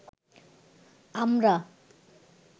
আমরা